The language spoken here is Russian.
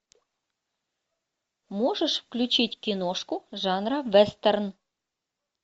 можешь включить киношку жанра вестерн